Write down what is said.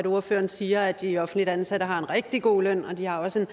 ordføreren siger at de offentligt ansatte har en rigtig god løn og at de også